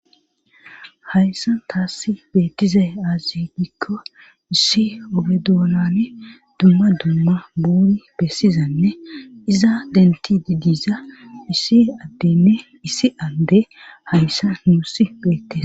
hayssan taasi betize azidikko issi obedonane duma duma buuni besizane iza dentididiza isi adene issi ande hayssan nusi beteza